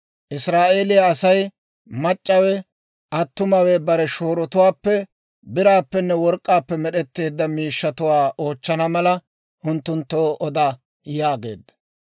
Israa'eeliyaa asay, mac'c'awe attumawe bare shoorotuwaappe biraappenne work'k'aappe med'etteedda miishshatuwaa oochchana mala, unttunttoo oda» yaageedda.